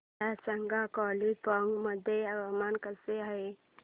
मला सांगा कालिंपोंग मध्ये हवामान कसे आहे